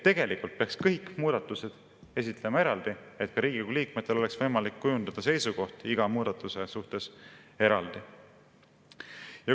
Tegelikult peaks kõik muudatused esitama eraldi, et Riigikogu liikmetel oleks võimalik kujundada seisukoht iga muudatuse suhtes eraldi.